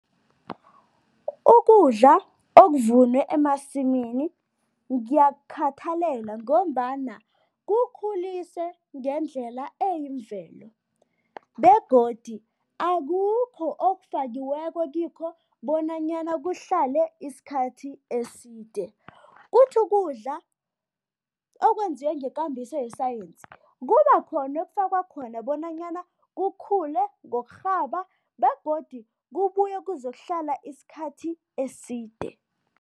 Ukudla okuvunwe emasimini ngiyakukhathalela ngombana kukhulise ngendlela eyimvelo begodi akukho okufakiweko kikho bonanyana kuhlale isikhathi eside. Kuthi ukudla okwenziwe ngekambiso yesayensi, kube khona okufakwa khona bonanyana kukhule ngokurhaba begodu kubuye kuzokuhlala isikhathi eside.